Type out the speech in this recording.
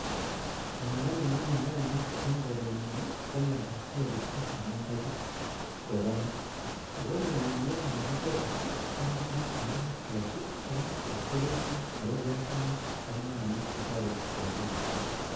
Miondo nengeme nyanyik eng korenyun komiondab kooristo, ako mionitik Bo kooristo kotam kebiite ak mistress, ko mistress ko kerichot nebo biasinik ak nyanyik chetoretii eng koriisto